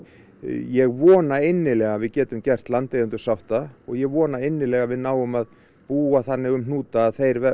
ég vona innilega að við getum gert landeigendur sátta og ég vona innilega að við náum að búa þannig um hnúta að þeir